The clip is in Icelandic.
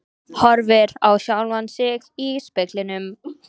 Horfir á sjálfan sig í speglinum.